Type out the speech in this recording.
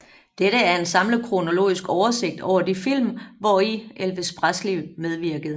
Dette er en samlet kronologisk oversigt over de film hvori Elvis Presley medvirkede